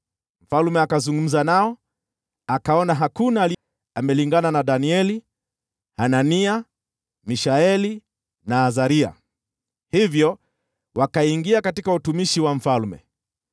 Mfalme akazungumza nao, akaona hakuna aliyelingana na Danieli, Hanania, Mishaeli na Azaria. Hivyo wakaingia katika utumishi wa mfalme.